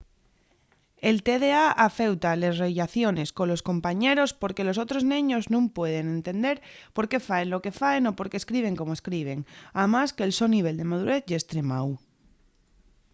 el tda afeuta les rellaciones colos compañeros porque los otros neños nun pueden entender por qué faen lo que faen o por qué escriben como escriben amás que'l so nivel de madurez ye estremáu